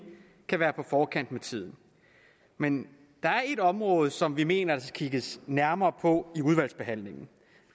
kan være på forkant med tiden men der er ét område som vi mener der skal kigges nærmere på i udvalgsbehandlingen